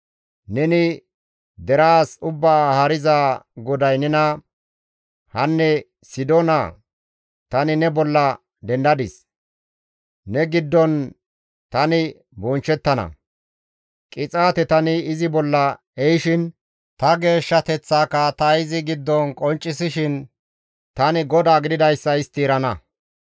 Neni deraas Ubbaa Haariza GODAY nena, ‹Hanne Sidoona tani ne bolla dendadis; ne giddon tani bonchchettana; qixaate tani izi bolla ehishin, ta geeshshateththaaka ta izi giddon qonccisishin, tani GODAA gididayssa istti erana.